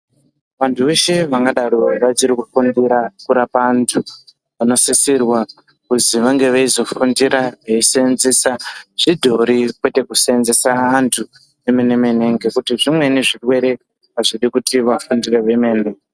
Vantu veshe vangadaro vachiri kufundira kurapa antu vanosisisrwa kuzi vange veizofundira veisenzesa zvidhori kwete kusenzesa antu emene mene ngekuti zvimweni zvirwere azvidi kuti vafundire hwemene.